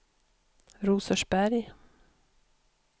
Rosersberg